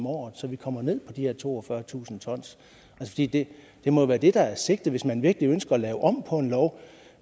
året så vi kommer ned på de her toogfyrretusind t det må jo være det der er sigtet hvis man virkelig ønsker at lave om på en lov